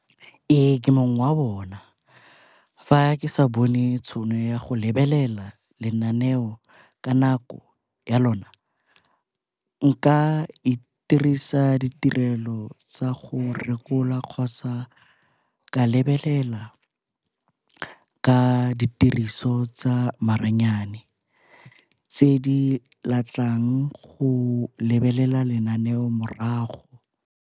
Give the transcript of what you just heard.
Ee, ke mongwe wa bona. Fa ke sa bone tšhono ya go lebelela lenaneo ka nako ya lona nka itirisa ditirelo tsa go rekola kgotsa ka lebelela ka ditiriso tsa maranyane tse di letlang go lebelela lenaneo morago.